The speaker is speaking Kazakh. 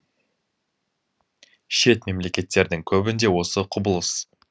шет мемлекеттердің көбінде осы құбылыс